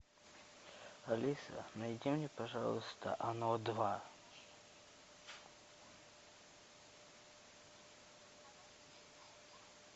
алиса найди мне пожалуйста оно два